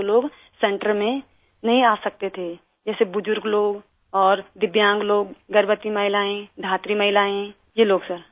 जो लोग सेंटर में नहीं आ सकते थे जैसे बुजुर्ग लोग और दिव्यांग लोग गर्ववती महिलाएं धात्री महिलाएं ये लोग सिर